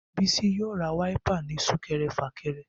Bisi yóò ra wáípà nínú súkẹrẹ fàkẹrẹ